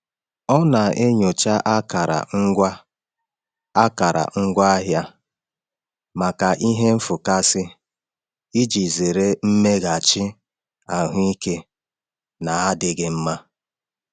Ọ na-enyocha akara ngwa akara ngwa ahịa maka ihe nfụkasị iji zere mmeghachi ahụike na-adịghị mma.